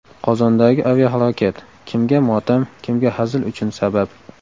Qozondagi aviahalokat: kimga motam, kimga hazil uchun sabab.